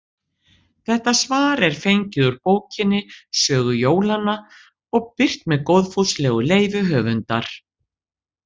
Þetta svar er fengið úr bókinni Sögu jólanna og birt með góðfúslegu leyfi höfundar.